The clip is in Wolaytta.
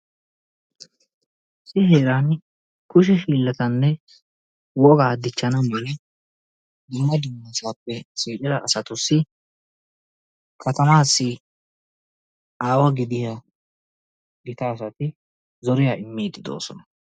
Misiliyan kushe hiilatanne wogaa dichanaawu dumma dummasaappe shiiqida asatussi katanaassi aawa gidiya aawati zoriya immiidi de'oosona.